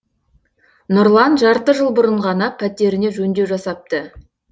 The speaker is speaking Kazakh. нұрлан жарты жыл бұрын ғана пәтеріне жөндеу жасапты